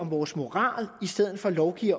vores moral i stedet for at lovgive